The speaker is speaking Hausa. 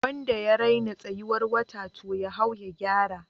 Wanda ya raina tsayuwar wata, to ya hau ya gyara